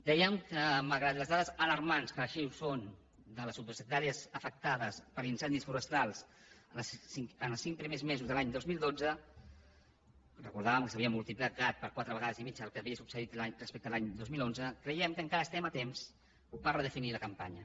dèiem que malgrat les dades alarmants que així ho són de les hectàrees afectades per incendis forestals en els cinc primers mesos de l’any dos mil dotze recordàvem que s’havia multiplicat per quatre vegades i mitja el que havia succeït respecte a l’any dos mil onze creiem que encara estem a temps per redefinir la campanya